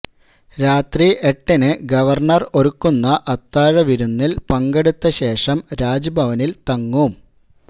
രാത്രി എട്ടിന് ഗവര്ണര് ഒരുക്കുന്ന അത്താഴ വിരുന്നില് പങ്കെടുത്ത ശേഷം രാജ്ഭവനില് തങ്ങും